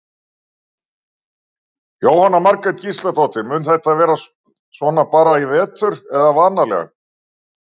Jóhanna Margrét Gísladóttir: Mun þetta vera svona bara í vetur eða varanlega?